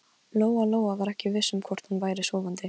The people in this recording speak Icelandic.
Hann er strangur og föður legur á svip.